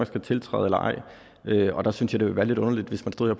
skal tiltræde eller ej der synes jeg det ville være lidt underligt hvis man stod